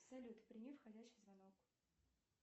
салют прими входящий звонок